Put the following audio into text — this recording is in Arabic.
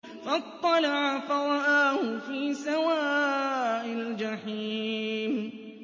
فَاطَّلَعَ فَرَآهُ فِي سَوَاءِ الْجَحِيمِ